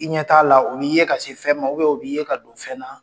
I ɲɛ t'a la , u b'i ye ka se fɛn ma , u b'i ye ka don fɛn na